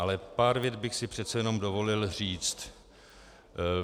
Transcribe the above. Ale pár vět bych si přece jenom dovolil říct.